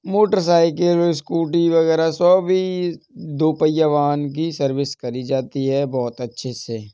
Motorcycle scooty वगैरा सभी दो पहिया वाहन की सर्विस करी जाती है बोहोत अच्छे से।